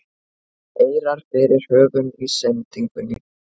eirar fyrir höfum í sendingunni